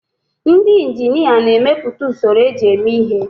Ndị injinia na-emepụta usoro eji eme ihe.